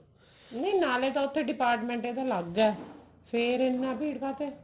ਨਹੀਂ ਨਾਲੇ ਤਾਂ ਉੱਥੇ department ਇਹਦਾ ਅਲੱਗ ਐ ਫੇਰ ਇਹਨਾਂ ਭੀੜ ਕਾਹਤੇ